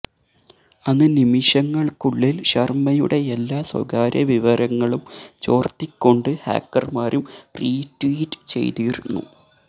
അന്ന് നിമിഷങ്ങൾക്കുള്ളിൽ ശർമ്മയുടെ എല്ലാ സ്വകാര്യവിവരങ്ങളും ചോർത്തിക്കൊണ്ട് ഹാക്കർമാരും റീട്വീറ്റ് ചെയ്തിരുന്നു